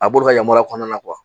A b'olu ka yamaruya kɔnɔna na .